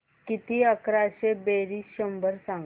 किती अकराशे बेरीज शंभर सांग